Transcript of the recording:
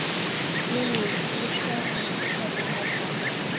Lillý: Þú vilt sjá hann hérna áfram?